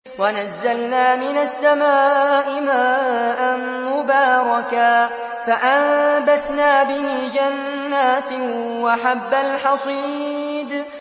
وَنَزَّلْنَا مِنَ السَّمَاءِ مَاءً مُّبَارَكًا فَأَنبَتْنَا بِهِ جَنَّاتٍ وَحَبَّ الْحَصِيدِ